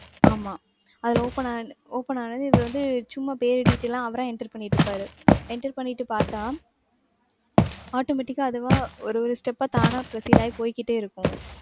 ஆமா. அதுல open ஆ~ open ஆகுறது இவரு வந்து சும்மா பேரு detail லாம் அவரா enter பண்ணிட்டு இருப்பாரு. enter பண்ணிட்டு பார்த்தா automatic ஆ அதுவா ஒரு ஒரு step ஆ தானா proceed ஆயி போய்க்கிட்டே இருக்கும்.